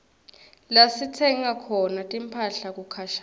lasitsenga khona timphahla kukhashane